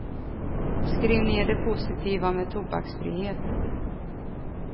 Skriv ned det positiva med tobaksfrihet.